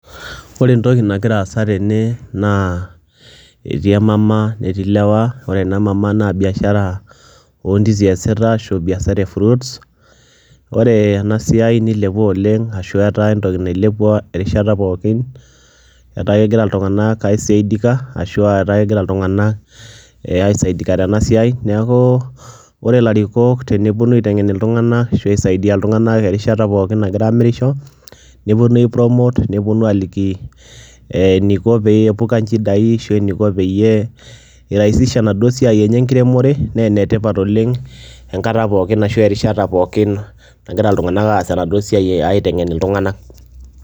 Ore entoki nagira aasa tene naa etii emama netii ilewa, ore ena mama naa biashara o ndizi eyasita ashu biashara e fruits. Ore ena siai nilepua oleng' ashu etaa entoki nailepua erishata pookin etaa kegira iltung'anak aisaidika ashu aa ketaa egira iltung'anak aisaidika tena siai. Neeku ore larikok teneponu aiteng'en iltung'anak ashu aisaidia iltung'anak erishata pookn nagira aamirisho neponu aipromote, neponu aaliki ee eniko peepuka nchidai ashu eniko peyie irahisisha enaduo siai enye enkiremore nee ene tipat oleng' enkata pookin ashu erishata pookin nagira iltung'anak aas enaduo siai aiteng'en iltung'anak.